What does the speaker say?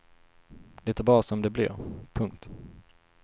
Det är bara som det blir. punkt